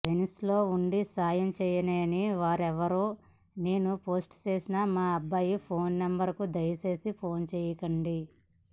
వెనిస్లో ఉండి సాయం చేయలేని వారెవరూ నేను పోస్ట్ చేసిన మా అబ్బాయి ఫోన్ నెంబర్కు దయచేసి ఫోన్ చేయకండి